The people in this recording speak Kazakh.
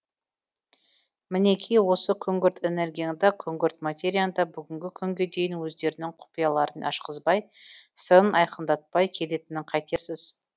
мінеки осы күңгірт энергияң да күңгірт материяң да бүгінгі күнге дейін өздерінің құпияларын ашқызбай сырын айқындатпай келетінін қайтерсіз